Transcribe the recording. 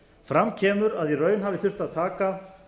fram kemur að í raun hafi þurft að taka